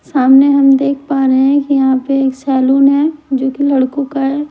सामने हम देख पा रहे हैं कि यहाँ पे एक सेलोन है जो कि लड़कों का है।